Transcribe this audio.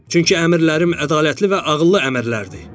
Çünki əmrlərim ədalətli və ağıllı əmrlərdir.